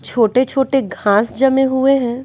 छोटे-छोटे घास जमे हुए हैं।